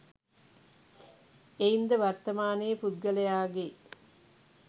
එයින් ද වර්තමානයේ පුද්ගලයාගේ